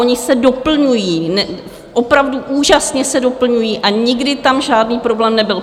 Oni se doplňují, opravdu úžasně se doplňují a nikdy tam žádný problém nebyl.